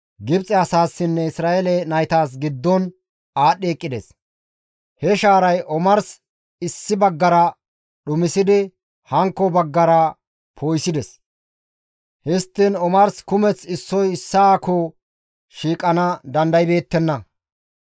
Gibxe asaassinne Isra7eele naytas giddon aadhdhi eqqides. He shaaray omars issi baggara dhumisidi hankko baggara poo7isides; histtiin omars kumeth issoy issaakko shiiqana dandaybeettenna.